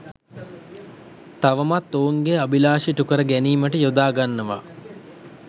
තවමත් ඔවුන්ගේ අභිලාෂ ඉටු කර ගැනීමට යොදා ගන්නවා